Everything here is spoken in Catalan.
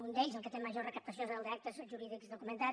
un d’ells el que té major recaptació és el d’actes jurídics documentats